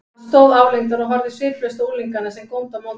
Hann stóð álengdar og horfði sviplaust á unglingana, sem góndu á móti.